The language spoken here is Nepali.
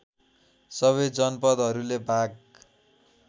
सबै जनपदहरूले भाग